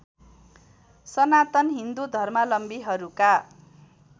Sanatan Hindu धर्मावलम्बीहरूका